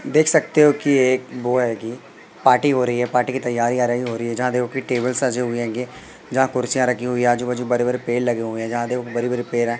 देख सकते हो कि एक वो आयेगी पार्टी हो रही है पार्टी की तैयारी आ रही हो रही है जहां देखो की टेबल सजे हुए गे जहां कुर्सियां रखी गई है आजू बाजू बरे बरे पेड़ लगे हुए हैं जहां देखो बरे बरे पेड़ है।